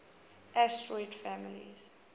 asterid families